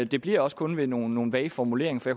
det bliver også kun ved nogle nogle vage formuleringer for